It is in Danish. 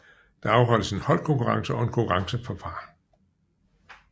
Der afholdes en holdkonkurrence og en konkurrence for par